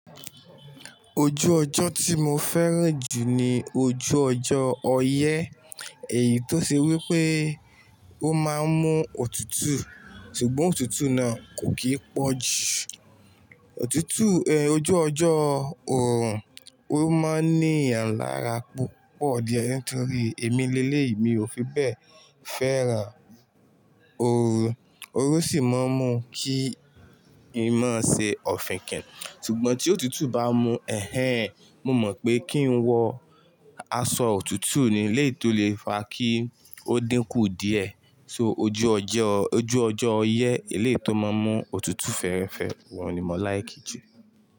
Ojú ọjọ́ tí mo fẹ́ràn jù ní ojú ọjọ́ ọyẹ́, èyí tó ṣe wí pé ó má ń mú òtútù, ṣùgbọ́n òtútù náà kò kí í pọ̀jù. Òtútù, ẹ, ojú ọjọ́ òrùn, ó má ń ní àńlá ara púpọ̀ díẹ̀ nítorí èmi léléyì mi ò fi bẹ́ẹ̀ fẹ́ràn òrùn, òrùn sì má ń mú kí i má ṣe òfin kìn-ín. Ṣùgbọ́n tí òtútù bá mú ẹ̀hẹ̀n, mó mọ̀ pé kí ń wọ aṣọ òtútù ni, èléyìí tó lè fa kí ó dínkù díẹ̀. So ojú ọjọ́, ojú ọjọ́ ọyẹ́, eléyìí tó má ń mú òtútù fẹ́rẹ́fẹ́, ọhún ni mo láìkí jù.